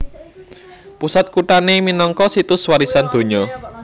Pusat kuthané minangka Situs Warisan Donya